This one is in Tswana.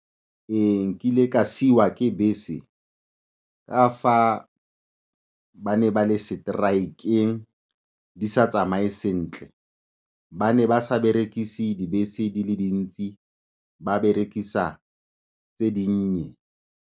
Ee, nkile ka siiwa ke bese ka fa ba ne ba le seteraekeng, di sa tsamaye sentle, ba ne ba sa berekise dibese di le di ntsi, ba berekisa tse di nnye.